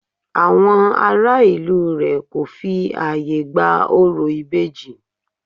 Àwọn ará ìlú rẹ̀ kò fi ààyè gba orò ìbejì